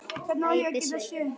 æpir Svenni.